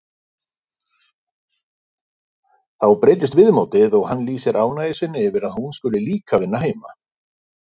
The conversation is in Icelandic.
Þá breytist viðmótið og hann lýsir ánægju sinni yfir að hún skuli líka vinna heima.